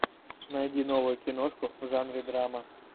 найди новую киношку в жанре драма